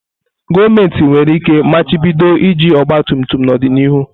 Gọọmentị nwere ike machibido iji ọgba tum tum n'ọdịnihu.